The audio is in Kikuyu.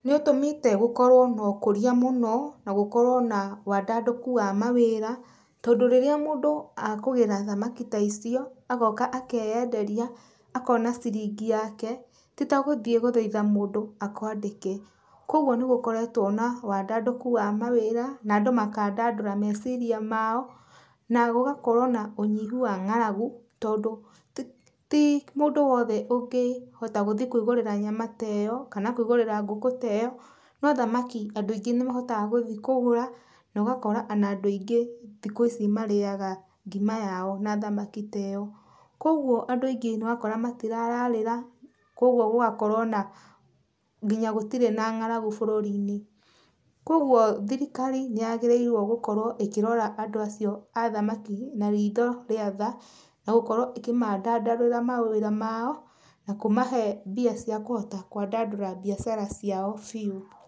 Nĩ ũtũmĩte gũkorwo na ũkũrĩa mũno na gũkorwo na wandandũku wa mawĩra, tondũ rĩrĩa mũndũ akũgĩra thamaki ta icio, agoka akĩyenderia akona ciringi yake, ti ta gũthiĩ gũthaitha mũndũ akwandĩke. Kogwo nĩ gũkoretwo na wandandũku wa mawĩra, na andũ makandandũra meciria mao, na gũgakorwo na ũnyihu wa ngaragu, tondũ ti mũndũ wothe ũngĩhota gũthiĩ kwĩgũrĩra nyama ta ĩyo, kana kwĩgũrĩra ngũkũ ta ĩyo, no thamaki andũ aingĩ nĩ mahotaga gũthiĩ kũgũra na ũgakora ona andũ aingĩ thikũ ici marĩaga ngima yao na thamaki tĩyo. Kogwo andũ aingĩ nĩ ũrakora matirararĩra, kogwo gũgakorwo na nginya gũtirĩ na ngaragu bururi-inĩ. Kogwo thirikari nĩ yagĩrĩirwo gũkorwo ĩkĩrora andũ acio a thamaki na ritho rĩa tha, na gũkorwo ĩkĩmandandũrĩra mawĩra mao, na kũmahe mbia cia kũhota kwandandũra biacara ciao biũ.